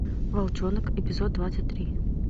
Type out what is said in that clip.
волчонок эпизод двадцать три